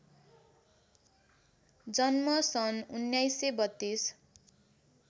जन्म सन् १९३२